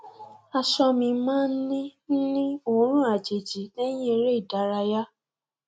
aṣọ mi máa ń ní ń ní òórùn àjèjì lẹyìn eré ìdárayá